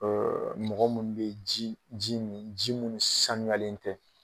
mɔgɔ mun be ji ji min ji munnu sanuyalen tɛ